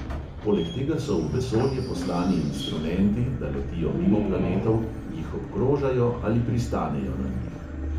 Poleg tega so v vesolje poslani instrumenti, da letijo mimo planetov, jih obkrožajo ali pristanejo na njih.